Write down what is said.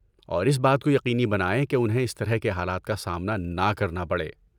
اور اس بات کو یقینی بنائیں کہ انہیں اس طرح کے حالات کا سامنا نہ کرنا پڑے۔